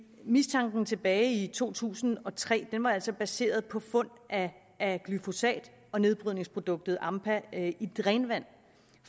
mistanken tilbage i to tusind og tre var altså baseret på fund af glyfosat og nedbrydningsproduktet ampa i drænvand